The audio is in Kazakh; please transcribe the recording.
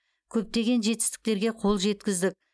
көптеген жетістіктерге қол жеткіздік